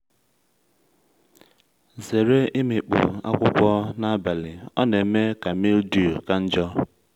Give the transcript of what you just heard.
zere imikpu akwụkwọ n’abalị ọ na-eme ka mildew ka njọ